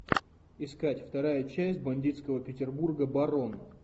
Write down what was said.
искать вторая часть бандитского петербурга барон